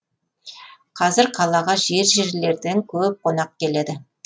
қазір қалаға жер жерлерден көп қонақ келеді